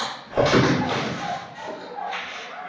Gunnsi, læstu útidyrunum.